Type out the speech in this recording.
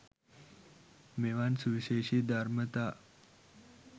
මෙවන් සුවිශේෂී ධර්මතා